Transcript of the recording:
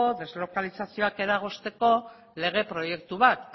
deslokalizazioak eragozteko lege proiektu bat